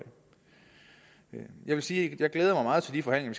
jeg vil sige at jeg glæder mig meget til de forhandlinger